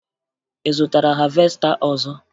Ị zụtara havesta ọzọ?